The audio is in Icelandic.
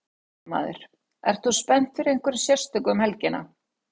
Fréttamaður: Ert þú spennt fyrir einhverju sérstöku um helgina?